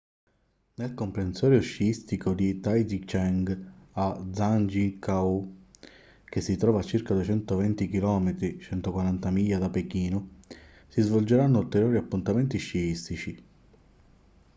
nel comprensorio sciistico di taizicheng a zhangjiakou che si trova a circa 220 km 140 miglia da pechino si svolgeranno ulteriori appuntamenti sciistici